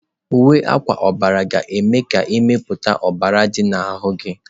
Uwe akwa ọbara ga-eme ka mmepụta ọbara dị n'ahụ gị.